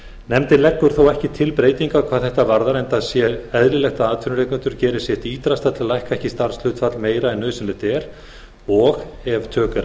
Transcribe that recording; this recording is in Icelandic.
nefndin leggur þó ekki til breytingar hvað þetta varðar enda sé eðlilegt að atvinnurekendur geri sitt ýtrasta til að lækka ekki starfshlutfall meira en nauðsynlegt er og ef tök eru